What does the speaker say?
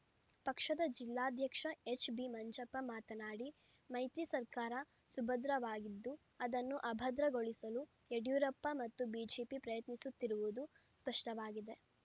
ಪಕ್ಷದ ಜಿಲ್ಲಾಧ್ಯಕ್ಷ ಎಚ್‌ಬಿ ಮಂಜಪ್ಪ ಮಾತನಾಡಿ ಮೈತ್ರಿ ಸರ್ಕಾರ ಸುಭದ್ರವಾಗಿದ್ದು ಅದನ್ನು ಅಭದ್ರಗೊಳಿಸಲು ಯಡಿಯೂರಪ್ಪ ಮತ್ತು ಬಿಜೆಪಿ ಪ್ರಯತ್ನಿಸುತ್ತಿರುವುದು ಸ್ಪಷ್ಟವಾಗಿದೆ